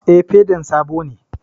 Eh, fedan sabo ne